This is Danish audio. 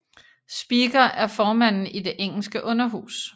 Speaker er formanden i det engelske underhus